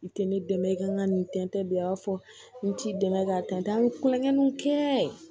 N tɛ ne dɛmɛ i ka n ka nin tɛntɛn bilen a b'a fɔ n t'i dɛmɛ k'a tɛntɛn n bɛ kulonkɛw kɛ